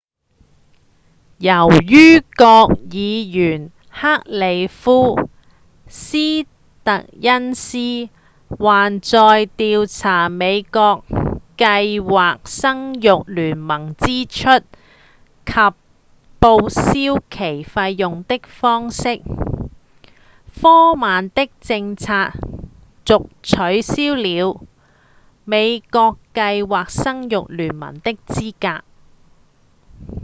由於國會議員克里夫‧斯特恩斯還在調查美國計劃生育聯盟支出及報銷其費用的方式科曼的政策遂取消了美國計劃生育聯盟的資格